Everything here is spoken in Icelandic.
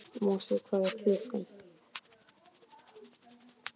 Mosi, hvað er klukkan?